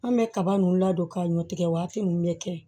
An bɛ kaba nunnu ladon ka ɲɔ tigɛ waati nunnu de kɛ